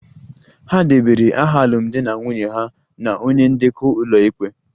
Ha debara aha alụmdi na nwunye ha na onye ndekọ ụlọikpe